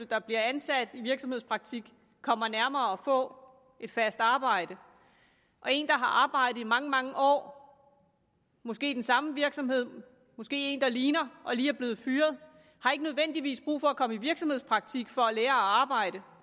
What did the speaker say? der bliver ansat i virksomhedspraktik kommer nærmere at få et fast arbejde og en der har arbejde i mange mange år måske i den samme virksomhed måske i en der ligner og lige er blevet fyret har ikke nødvendigvis brug for at komme i virksomhedspraktik for at lære at arbejde